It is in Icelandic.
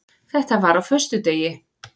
Þetta var á föstudegi.